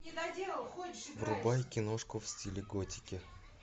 врубай киношку в стиле готики